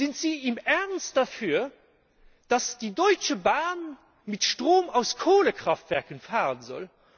Sind Sie im Ernst dafür, dass die Deutsche Bahn mit Strom aus Kohlekraftwerken fahren soll?